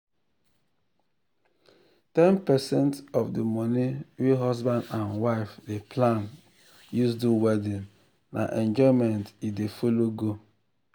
10 percent of the money wey husban and wife dey plan use do wedding na enjoyment e dey follow go.